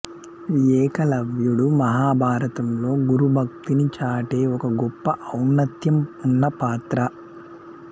ఏకలవ్యుడు మహాభారతంలో గురుభక్తిని చాటే ఒక గొప్ప ఔన్నత్యం ఉన్న పాత్ర